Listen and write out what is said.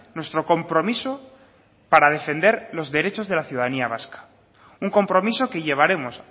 nuestro compromiso para defender los derechos de la ciudadanía vasca un compromiso que llevaremos